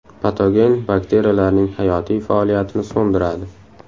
Patogen bakteriyalarning hayotiy faoliyatini so‘ndiradi.